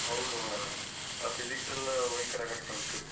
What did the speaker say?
ಹೌದು ಮರ್ರೆ ಆ Physics ಎಲ್ಲ ಭಯಂಕರ ಕಷ್ಟ ಉಂಟು.